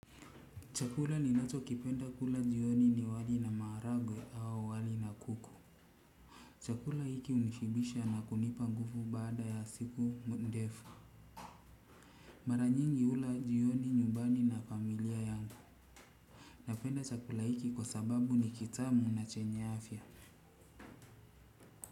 Chakula ninacho kipenda kula jioni ni wali na maharagwe au wali na kuku. Chakula hiki unishibisha na kunipa nguvu baada ya siku ndefu. Mara nyingi ula jioni nyumbani na familia yangu. Napenda chakula hiki kwa sababu ni kitamu na chenya afya.